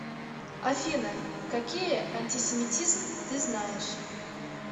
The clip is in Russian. афина какие антисемитизм ты знаешь